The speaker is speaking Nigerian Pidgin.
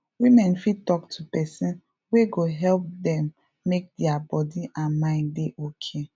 women fit talk to person wey go help dem make their body and mind dey okay